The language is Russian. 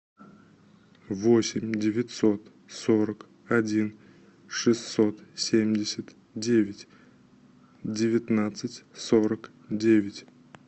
восемь девятьсот сорок один шестьсот семьдесят девять девятнадцать сорок девять